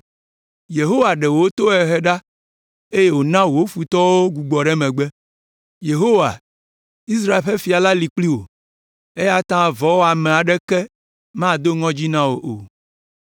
Yehowa ɖe wò tohehewo ɖa, eye wòna wò futɔwo gbugbɔɖemegbe. Yehowa, Israel ƒe fia la li kpli wò, eya ta vɔ̃wɔame aɖeke mado ŋɔdzi na wò o.